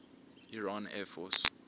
iran air force